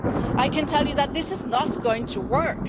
I can tell you that this is not going to work.